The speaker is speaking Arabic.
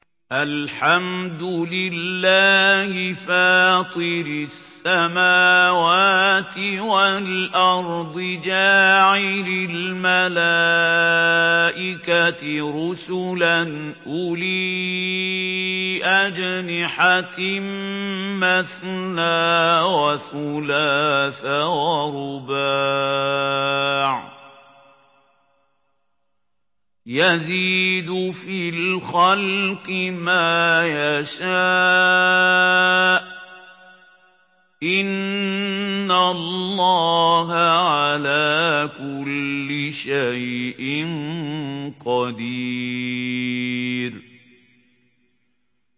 الْحَمْدُ لِلَّهِ فَاطِرِ السَّمَاوَاتِ وَالْأَرْضِ جَاعِلِ الْمَلَائِكَةِ رُسُلًا أُولِي أَجْنِحَةٍ مَّثْنَىٰ وَثُلَاثَ وَرُبَاعَ ۚ يَزِيدُ فِي الْخَلْقِ مَا يَشَاءُ ۚ إِنَّ اللَّهَ عَلَىٰ كُلِّ شَيْءٍ قَدِيرٌ